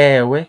Ewe,